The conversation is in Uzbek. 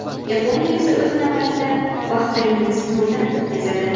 Yaponiya esa o‘z navbatida Bahraynni sinovdan o‘tkazadi.